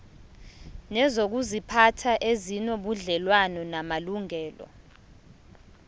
nezokuziphatha ezinobudlelwano namalungelo